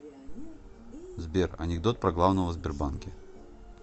сбер анекдот про главного в сбербанке